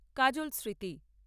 কাজল স্মৃতি